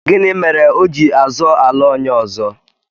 Gịnị mere o ji azọ ala onye ọzọ?